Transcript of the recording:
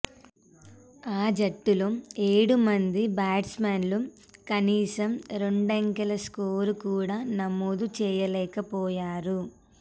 ఆ జట్టులో ఏడు మంది బ్యాట్స్మెన్లు కనీసం రెండంకెల స్కోర్ కూడా నమోదు చేయలేకపోయారు